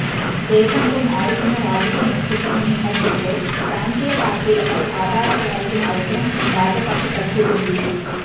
దేశంలో మారుతున్న రాజకీయ ముఖచిత్రం నేపథ్యంలో ప్రాంతీయ పార్టీలపై ఆధారపడాల్సిన అవసరం భాజపాకి తగ్గుతోంది